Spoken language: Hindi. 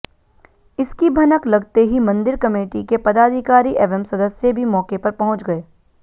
इसकी भनक लगते ही मंदिर कमेटी के पदाधिकारी एवं सदस्य भी मौके पर पहुंच गए